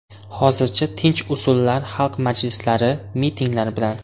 Hozircha tinch usullar xalq majlislari, mitinglar bilan.